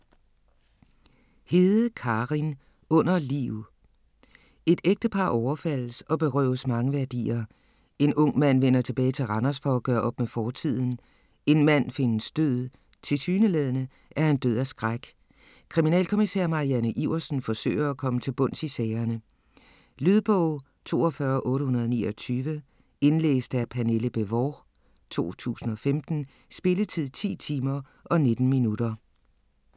Hede, Karin: Under liv Et ægtepar overfaldes og berøves mange værdier. En ung mand vender tilbage til Randers for at gøre op med fortiden. En mand findes død, tilsyneladende er han død af skræk. Kriminalkommissær Marianne Iversen forsøger at komme til bunds i sagerne. Lydbog 42829 Indlæst af Pernille Bévort, 2015. Spilletid: 10 timer, 19 minutter.